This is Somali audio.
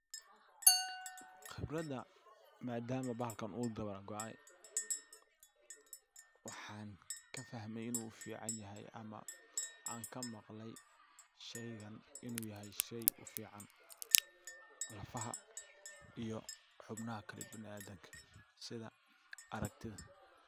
Qibrada madama bahalkan u dabar go'ay waxan kafahmay inu u ficanyahay ama aan ka maqlay shaygan inu yahay shay u fican lafaha iyo xubnaha kala biniadamka sida aragtida.